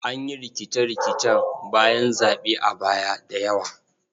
An yi rikice-rikicen bayan zaɓe a baya da yawa.